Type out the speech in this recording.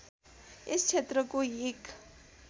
यस क्षेत्रको एक